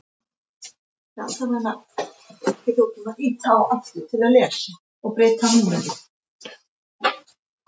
Súkkulaðið er skorið í smáa bita og raðað þar ofan á ásamt Nóa-kroppinu.